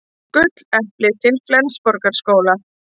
Jón Ólafur og Penélope fylgdu í kjölfarið og horfðu á hann.